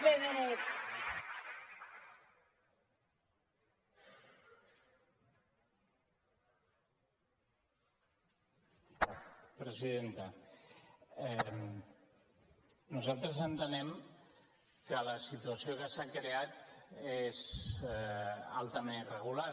presidenta nosaltres entenem que la situació que s’ha creat és altament irregular